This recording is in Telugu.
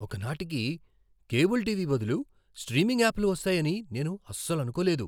ఒక నాటికి కేబుల్ టీవీ బదులు స్ట్రీమింగ్ యాప్లు వస్తాయని నేను అస్సలు అనుకోలేదు.